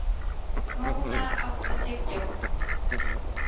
Móna, áttu tyggjó?